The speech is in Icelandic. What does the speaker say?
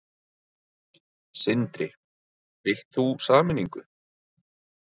Sindri: Vilt þú sameiningu?